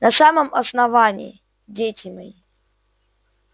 на самом основании дети мои